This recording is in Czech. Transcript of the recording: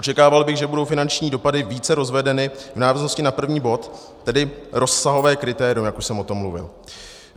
Očekával bych, že budou finanční dopady více rozvedeny v návaznosti na první bod, tedy rozsahové kritérium, jak už jsem o tom mluvil.